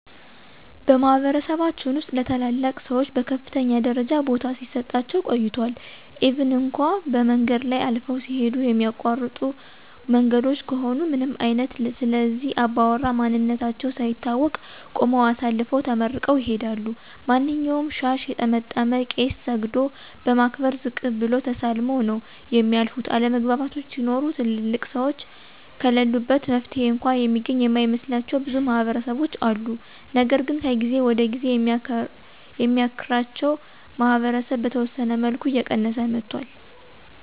በማህበረሰባችን ውስጥ ለታላላቅ ሰዎች በከፍተኛ ደረጃ ቦታ ሲሰጣቸው ቆይቷል ኢቭን እንኳ በመንገድ ላይ አልፈው ሲሂዱ የሚያቋርጡ መንገዶች ከሆኑ ምንም አይነት ስለእነዚህ አባውራ ማንነታቸው ሳይታወቅ ቁመው አሳልፈው ተመርቀው ይሂዳሉ። ማንኛውንም ሻሽ የጠመጠመ ቄስ ሰግዶ በማክበር ዝቅ ብሎ ተሳልመው ነው የሚያልፉት፤ አለመግባባቶች ሲኖሩ ትልልቅ ሰዎች ከለሉበት መፍትሔ እንኳ የሚገኝ የማይመስላቸው ብዙ ማህበረሰቦች አሉ። ነገር ግን ከጊዜ ወደ ጊዜ የሚያክራቸው ማህበረሰብ በተወሰነ መልኩ እየቀየሰ መጥቷል።